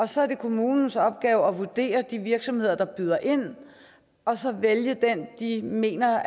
så er det kommunens opgave at vurdere de virksomheder der byder ind og så vælge den de mener